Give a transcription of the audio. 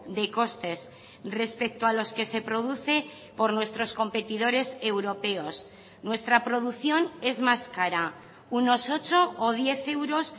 de costes respecto a los que se produce por nuestros competidores europeos nuestra producción es más cara unos ocho o diez euros